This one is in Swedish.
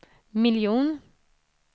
miljon